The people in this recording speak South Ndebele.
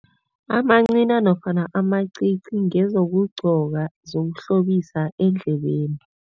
Amancina nofana amacici cs] ngezokugcoka zokuhlobisa eendlebeni.